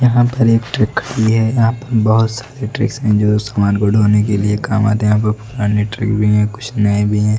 यहां पर एक ट्रक खड़ी है यहां पर बहोत सारे ट्रिक्स है जो सामान धोने के लिए काम आते हैं कुछ पुराने ट्रिक है कुछ नए भी हैं।